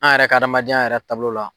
An yɛrɛ ka adamadenya yɛrɛ taabolo la.